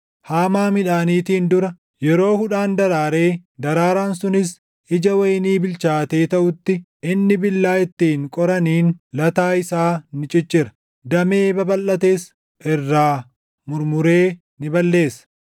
Haamaa midhaaniitiin dura, yeroo hudhaan daraaree daraaraan sunis ija wayinii bilchaatee taʼutti inni billaa ittiin qoraniin lataa isaa ni ciccira; damee babalʼates irraa murmuree ni balleessa.